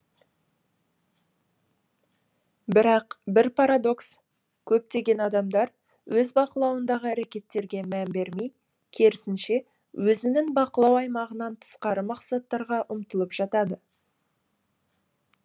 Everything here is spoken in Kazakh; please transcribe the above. бірақ бір парадокс көптеген адамдар өз бақылауындағы әрекеттерге мән бермей керісінше өзінің бақылау аймағынан тысқары мақсаттарға ұмтылып жатады